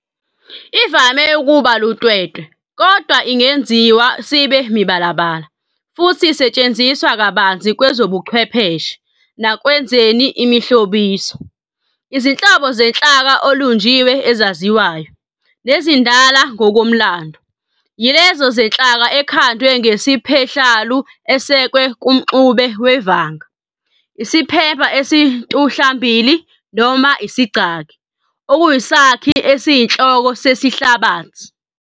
Ivame ukuba luntwentwe, kodwa ingenziwa sibe mibalabala, futhi isetshenziswa kabanzi kwezobuchwepheshe, nasekwenzeni imihlobiso. Izinhlobo zenhlaka elunjiwe ezaziwayo, nezindala ngokomlando, yilezo zenhlaka ekhandwe ngeSiphehlalu esekwe kumxube wevanga, iSiphemba esintuhlambili, noma igcaki, okuyisakhi esiyinhloko sesihlabathi.